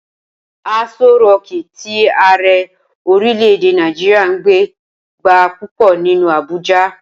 Aso rọọ̀kí tí Ààrẹ orílè-èdè Nàìjíríà ń gbé gba púpọ̀ nínú Abuja.